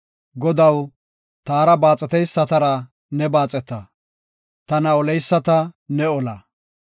Godaw, taara baaxeteysatar ne baaxeta; tana oleyisata ne ola.